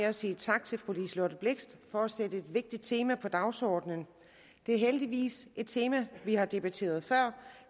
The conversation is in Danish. at sige tak til fru liselott blixt for at sætte et vigtigt tema på dagsordenen det er heldigvis et tema vi har debatteret før